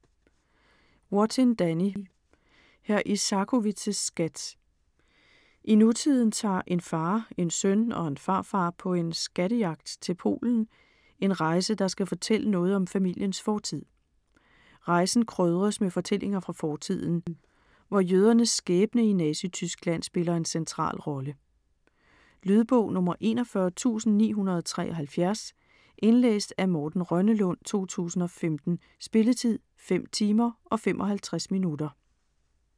Wattin, Danny: Hr. Isakowitz' skat I nutiden tager en far, en søn og en farfar på en "skattejagt" til Polen - en rejse, der skal fortælle noget om familiens fortid. Rejsen krydres med fortællinger fra fortiden, hvor jødernes skæbne i Nazityskland spiller en central rolle. Lydbog 41973 Indlæst af Morten Rønnelund, 2015. Spilletid: 5 timer, 55 minutter.